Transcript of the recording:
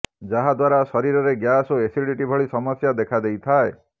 ଯାହାଦ୍ୱାରା ଶରୀରରେ ଗ୍ୟାସ ଓ ଏସିଡ଼ିଟି ଭଳି ସମସ୍ୟା ଦେଖାଦେଇଥାଏ